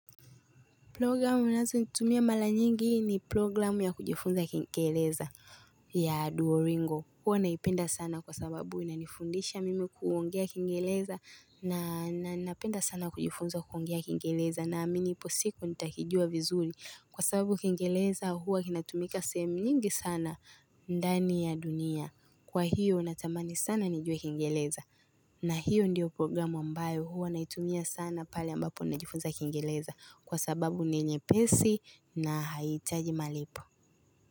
Programu nazo nitumia mara nyingi ni programu ya kujifunza kingeleza ya Duoringo. Huwa naipenda sana kwa sababu na nifundisha mimi kuongea kingeleza na napenda sana kujifunza kukongea kingeleza. Na mimi ipo siku nitakijua vizuri kwa sababu kingeleza huwa kinatumika sehemu nyingi sana ndani ya dunia. Kwa hiyo natamani sana nijue kingeleza na hiyo ndiyo programu ambayo huwa na itumia sana pale ambapo najifunza kingeleza. Kwa sababu ninyepesi na haitaji malipo.